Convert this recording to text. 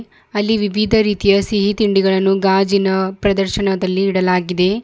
ಅಲ್ಲಿ ವಿವಿಧ ರೀತಿಯ ಸಿಹಿ ತಿಂಡಿಗಳನ್ನು ಗಾಜಿನ ಪ್ರದರ್ಶನದಲ್ಲಿ ಇಡಲಾಗಿದೆ.